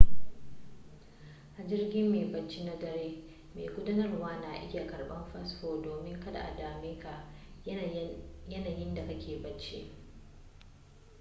a jirgin mai bacci na dare mai gudanarwa na iya karban fasfo domin kada a dameka yayinda kake bacci